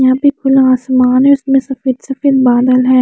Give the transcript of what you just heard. यहाँ पे खुला आसमान है उसमे सफ़ेद सफ़ेद बादल है।